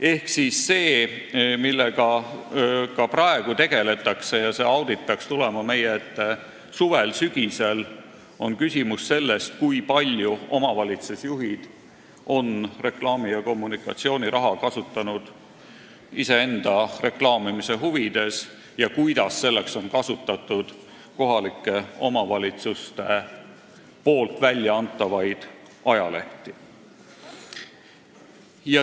Ehk see, millega ka praegu tegeldakse – ja see audit peaks tulema meie ette suvel, sügisel –, on küsimus sellest, kui palju omavalitsusjuhid on reklaami- ja kommunikatsiooniraha kasutanud iseenda reklaamimise huvides ja kuidas selleks on kasutatud kohalike omavalitsuste väljaantavaid ajalehti.